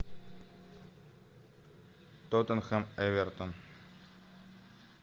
тоттенхэм эвертон